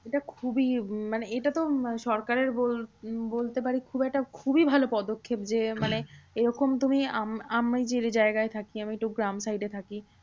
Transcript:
এটা খুবই মানে এটাতো সরকারের বল বলতে পারিস খুব একটা খুবই ভালো পদক্ষেপ যে, মানে এরকম তুমি আম আমি যে জায়গায় থাকি আমি, একটু গ্রাম side এ থাকি